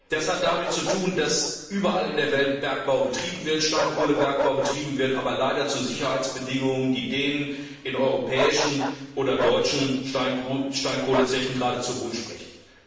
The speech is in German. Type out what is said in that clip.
Das hat damit zu tun, dass überall in der Welt Bergbau betrieben wird, Steinkohlebergbau betrieben wird, aber leider zu Sicherheitsbedingungen, die denen in europäischen oder deutschen Steinkohlezechen geradezu Hohn sprechen.